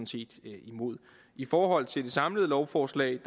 set imod i forhold til det samlede lovforslag